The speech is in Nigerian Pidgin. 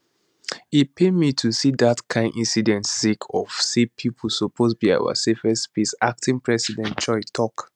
e pain me to see dat kain incidents sake of say school suppose be our safest space acting president choi tok